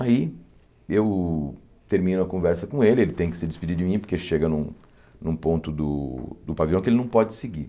Aí, eu termino a conversa com ele, ele tem que se despedir de mim porque chega num num ponto do do pavilhão que ele não pode seguir.